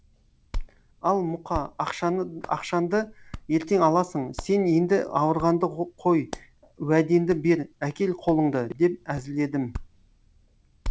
ал мұқа ақшанды ертең аласың сен енді ауырғанды қой уәденді бер әкел қолынды деп әзілдедім